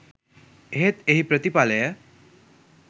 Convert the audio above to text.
එහෙත් එහි ප්‍රතිඵලය